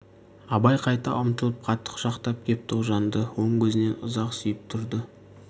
абай қайта ұмтылып қатты құшақтап кеп тоғжанды оң көзінен ұзақ сүйіп тұрды